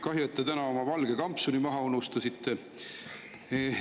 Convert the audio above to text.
Kahju, et te täna oma valge kampsuni maha unustasite.